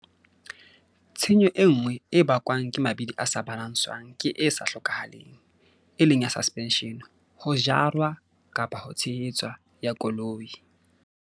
Tshenyo e nngwe e bakwang ke mabidi a sa balanswang ke e sa hlokahaleng, e leng ya suspension, ho jarwa-tshehetswa, ya koloi.